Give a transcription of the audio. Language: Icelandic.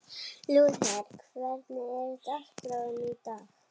Lúther, hvernig er dagskráin í dag?